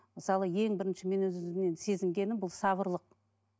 мысалы ең бірінші мен өз өзімнен сезінгенім бұл сабырлық